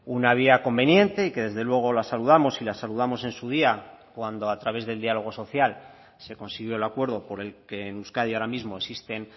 una vía conveniente y que desde luego la saludamos y la saludamos en su día cuando a través del diálogo social se consiguió el acuerdo por el que en euskadi ahora mismo existen